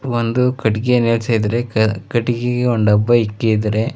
ಒಂದು ಕಟ್ಟಿಗೆ ನಿಲ್ಲಿಸಿದರೆ ಕ ಕಟ್ಟಿಗಿಗೆ ಒಂದು ಡಬ್ಬ ಇಕ್ಕಿದರೆ.